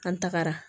An tagara